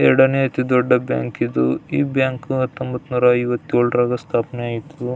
ಎರಡನೇ ಅತಿ ದೊಡ್ಡ ಬ್ಯಾಂಕ್ ಇದು ಈ ಬ್ಯಾಂಕ್ ಹತ್ತೊಂಬತ್ನೂರ ಐವತ್ತೆಳ್ರಾಗ ಸ್ಥಾಪನೆ ಆಯಿತು.